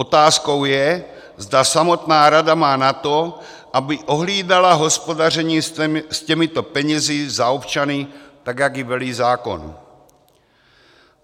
Otázkou je, zda samotná rada má na to, aby ohlídala hospodaření s těmito penězi za občany tak, jak jí velí zákon.